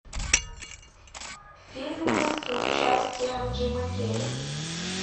фильмы с участием джима керри